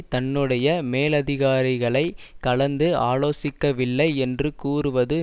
தன்னுடைய மேலதிகாரிகளை கலந்து ஆலோசிக்கவில்லை என்று கூறுவது